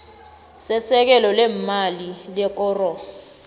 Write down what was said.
sesekelo leemali lekoro